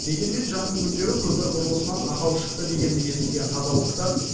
дегенмен жақын күндері көпір құрылысынан ақау шықты дегенді естіген қазалылықтар